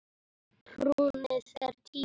Hrunið er tíu ára.